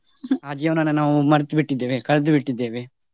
ಆ ಜೀವನವನ್ನು ನಾವು ಮರ್ತು ಬಿಟ್ಟಿದ್ದೇವೆ ಕಳ್ದು ಬಿಟ್ಟಿದ್ದೇವೆ.